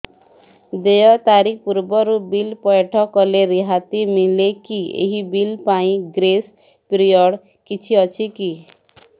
ଦେୟ ତାରିଖ ପୂର୍ବରୁ ବିଲ୍ ପୈଠ କଲେ ରିହାତି ମିଲେକି ଏହି ବିଲ୍ ପାଇଁ ଗ୍ରେସ୍ ପିରିୟଡ଼ କିଛି ଅଛିକି